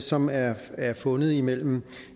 som er fundet imellem